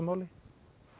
máli